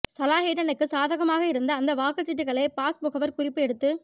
சலாஹுடினுக்குச் சாதகமாக இருந்த அந்த வாக்குச் சீட்டுக்களை பாஸ் முகவர் குறிப்பு எடுத்துக்